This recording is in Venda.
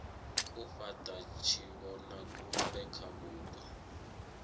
u fhata tshivhonakule kha vhupo